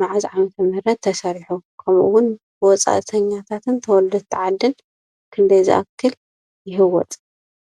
መዓዝ ዓ/ም ተሰሪሑ? ከምእውን ብወፃእተኛታትን ተወለድቲ ዓድን ክንደይ ዝኣክል ይህወፅ?